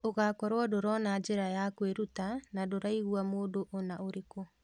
ũgakorwo ndũrona njĩra ya kwĩruta na ndũraigua mundu ona ũrĩkũ.